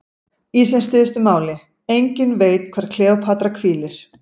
Í sem stystu máli: enginn veit hvar Kleópatra hvílir.